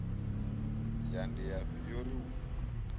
ya ndiafhi yo ri u